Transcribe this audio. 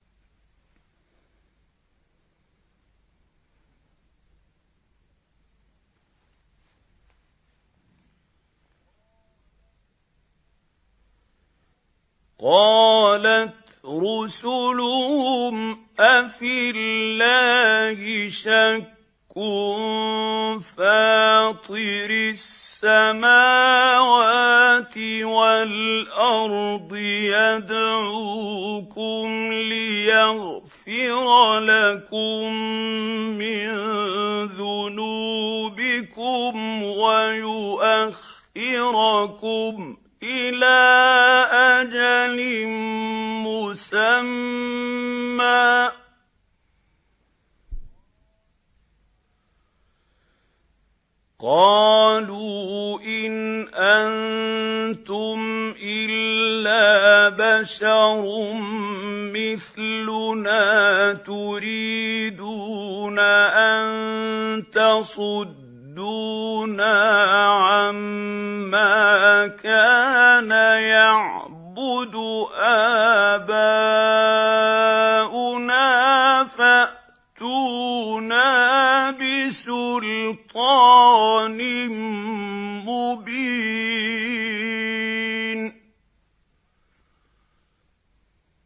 ۞ قَالَتْ رُسُلُهُمْ أَفِي اللَّهِ شَكٌّ فَاطِرِ السَّمَاوَاتِ وَالْأَرْضِ ۖ يَدْعُوكُمْ لِيَغْفِرَ لَكُم مِّن ذُنُوبِكُمْ وَيُؤَخِّرَكُمْ إِلَىٰ أَجَلٍ مُّسَمًّى ۚ قَالُوا إِنْ أَنتُمْ إِلَّا بَشَرٌ مِّثْلُنَا تُرِيدُونَ أَن تَصُدُّونَا عَمَّا كَانَ يَعْبُدُ آبَاؤُنَا فَأْتُونَا بِسُلْطَانٍ مُّبِينٍ